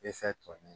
tɔ nunnu